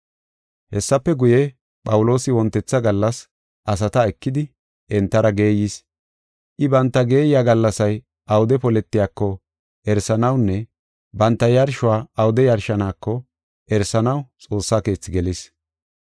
Hessafe guye, Phawuloosi wontetha gallas asata ekidi, entara geeyis. I banta geeyiya gallasay awude poletiyako erisanawunne banta yarshuwa awude yarshaneko erisanaw Xoossa Keethi gelis.